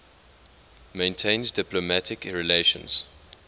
maintains diplomatic relations